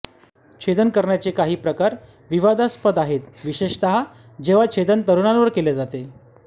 छेदन करण्याचे काही प्रकार विवादास्पद आहेत विशेषत जेव्हा छेदन तरूणांवर केले जाते